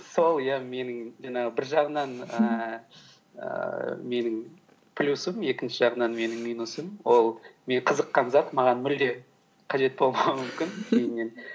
сол иә менің жаңағы бір жағынан ііі менің плюсім екінші жағынан менің минусым ол мен қызыққан зат маған мүлде қажет болмауы мүмкін кейіннен